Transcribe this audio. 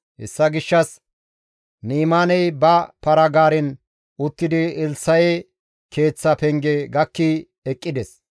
Hessa gishshas Ni7imaaney ba para-gaaren uttidi Elssa7e keeththa penge gakki eqqides.